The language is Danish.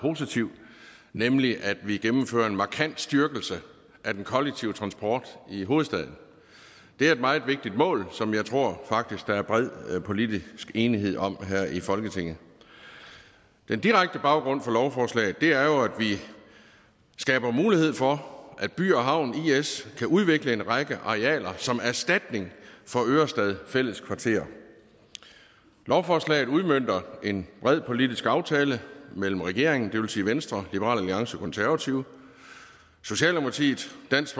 positiv nemlig at vi gennemfører en markant styrkelse af den kollektive transport i hovedstaden det er et meget vigtigt mål som jeg tror faktisk er bred politisk enighed om her i folketinget den direkte baggrund for lovforslaget er jo at vi skaber mulighed for at by havn is kan udvikle en række arealer som erstatning for ørestad fælled kvarter lovforslaget udmønter en bred politisk aftale mellem regeringen det vil sige venstre liberal alliance og konservative socialdemokratiet dansk